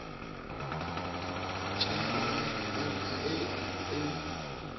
heke ya banka e e